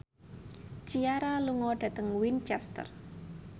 Ciara lunga dhateng Winchester